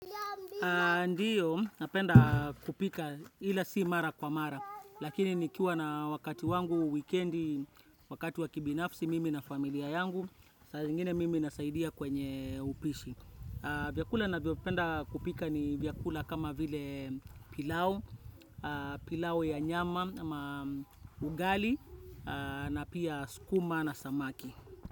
Ndio, napenda kupika ila sii mara kwa mara, lakini nikiwa na wakati wangu wikendi, wakati wakibinafsi mimi na familia yangu, saa zingine mimi nasaidia kwenye upishi. Vyakula navyopenda kupika ni vyakula kama vile pilau, pilau ya nyama, ugali, na pia skuma na samaki.